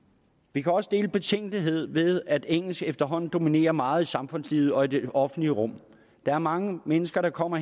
vi kan også dele betænkeligheden ved at engelsk efterhånden dominerer meget i samfundslivet og i det offentlige rum der er mange mennesker der kommer